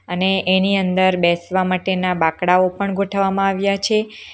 અને એની અંદર બેસવા માટેના બાંકડાઓ પણ ગોઠવવામાં આવ્યા છે.